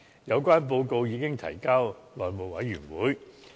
有關報告已經提交內務委員會。